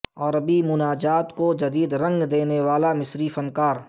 عربی مناجات کو جدید رنگ دینے والا مصری فنکار